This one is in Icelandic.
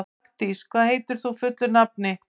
Magndís, hvað heitir þú fullu nafni?